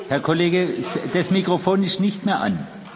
Herr Kollege Waitz, das Mikrofon ist nicht mehr an.